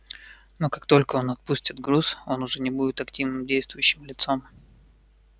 но как только он отпустит груз он уже не будет активным действующим лицом